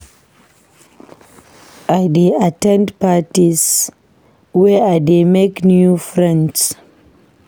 I dey at ten d parties where I dey make new friends.